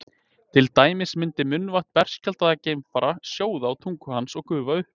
Til dæmis myndi munnvatn berskjaldaðs geimfara sjóða á tungu hans og gufa upp.